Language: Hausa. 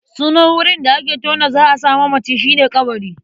Sunan wurin da aka tona za a sa manaci shi ne ƙabari.